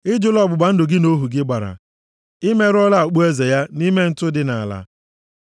Ị jụla ọgbụgba ndụ gị na ohu gị gbara i merụọla okpueze ya nʼime ntụ dị nʼala.